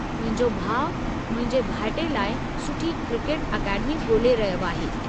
मुंहिंजो भाउ मुंहिंजे भाइटे लाइ सुठी क्रिकेट अकेडमी ॻोल्हे रहियो आहे।